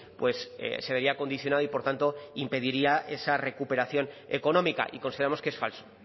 pues se vería condicionado y por tanto impediría esa recuperación económica y consideramos que es falso